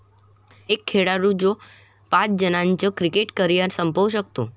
एक खेळाडू जो पाच जणांचं क्रिकेट करिअर संपवू शकतो!